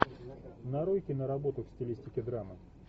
нарой киноработу в стилистике драмы